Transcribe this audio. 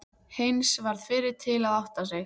Heinz varð fyrri til að átta sig.